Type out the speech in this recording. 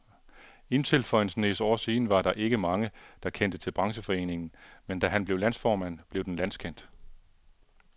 Indtil for en snes år siden var der ikke mange, der kendte til brancheforeningen, men da han blev landsformand, blev den landskendt.